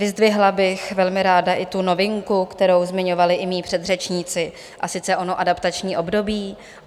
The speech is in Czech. Vyzdvihla bych velmi ráda i tu novinku, kterou zmiňovali i mí předřečníci, a sice ono adaptační období.